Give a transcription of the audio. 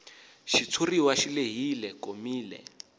xitshuriwa xi lehile komile